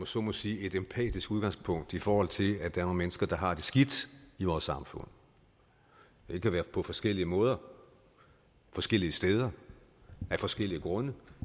så må sige empatisk udgangspunkt i forhold til at der er nogle mennesker der har det skidt i vores samfund det kan være på forskellige måder forskellige steder af forskellige grunde